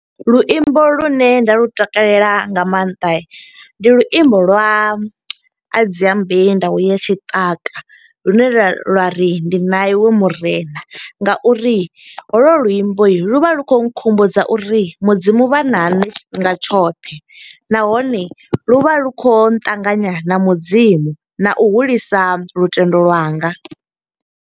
Luimbo lune nda lu takalela nga maanḓa, ndi luimbo lwa Adziambei Ndau ya tshiṱaka. Lune lwa ri ndi na i we murena nga uri ho lo luimbo lu vha lu khou nkhumbudza uri mudzimu vha na nṋe tshifhinga tshoṱhe. Nahone lu vha lu khou nṱanganya na mudzimu na u hulisa lutendo lwanga.